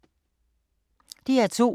DR2